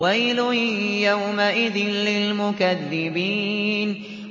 وَيْلٌ يَوْمَئِذٍ لِّلْمُكَذِّبِينَ